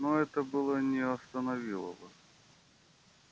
ну это было не остановило бы